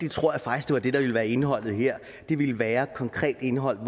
tror faktisk at det der ville være indholdet her ville være et konkret indhold